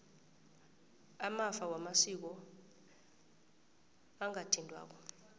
amafa wamasiko angathintwako